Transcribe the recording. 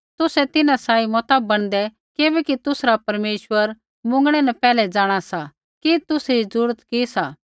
तुसै तिन्हां सांही मता बणदै किबैकि तुसरा परमेश्वर मुँगणै न पैहलै जाँणा सा कि तुसरी ज़रूरत कि सा